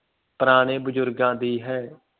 ਪੁਰਾਣੇ ਬਜ਼ੁਰਗਾਂ ਦੀ ਹੈ।